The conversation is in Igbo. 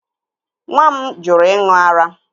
Nwa m jụrụ ịṅụ ara